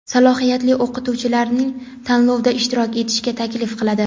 salohiyatli o‘qituvchilarni tanlovda ishtirok etishga taklif qiladi.